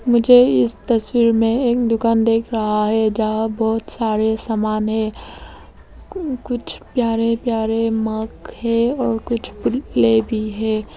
मुझे इस तस्वीर में एक दुकान देख रहा है जहां बहुत सारे सामान है कुछ प्यारे प्यारे मग है और कुछ प्लेट भी है।